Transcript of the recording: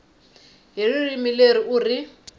hi ririmi leri u ri